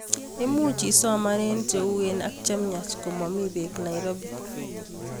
Imuchii isoman eng cheuwen ak chemyach komamii peek Nairobi